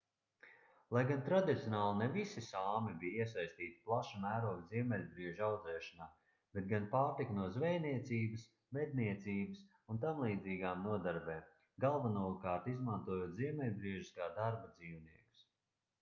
lai gan tradicionāli ne visi sāmi bija iesaistīti plaša mēroga ziemeļbriežu audzēšanā bet gan pārtika no zvejniecības medniecības un tamlīdzīgām nodarbēm galvenokārt izmantojot ziemeļbriežus kā darba dzīvniekus